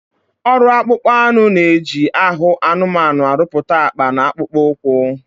Ọrụ akpụkpọ anụ na-eji ahụ anụmanụ arụpụta akpa na akpụkpọ ụkwụ